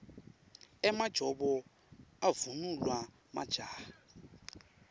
emajobo avunulwa majaha